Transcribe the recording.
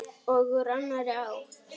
Og úr annarri átt.